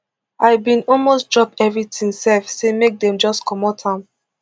i bin almost drop everything sef say make dem just comot am